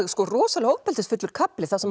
rosalega ofbeldisfullur kafli þar sem